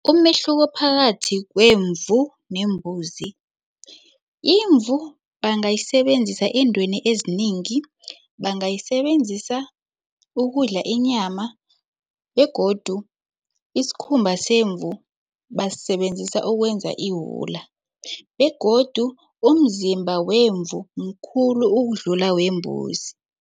Umehluko phakathi kwemvu nembuzi, imvu bangayisebenzisa eentweni ezinengi. Bangayisebenzisa ukudla inyama begodu isikhumba semvu basisebenzisa ukwenza iwula begodu umzimba wemvu mkhulu ukudlula wembuzi.